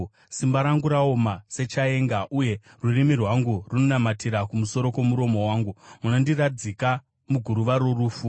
Simba rangu raoma sechaenga, uye rurimi rwangu runonamatira kumusoro kwomuromo wangu; munondiradzika muguruva rorufu.